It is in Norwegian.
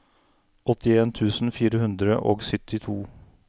åttien tusen fire hundre og syttito